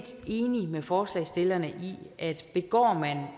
enig med forslagsstillerne i at begår